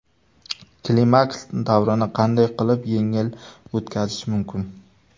Klimaks davrini qanday qilib yengil o‘tkazish mumkin?.